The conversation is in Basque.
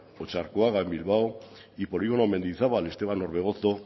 otxarkoaga en bilbao y polígono mendizabal esteban orbegozo